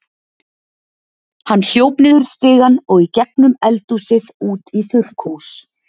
Hann hljóp niður stigann og í gegnum eldhúsið út í þurrkhús.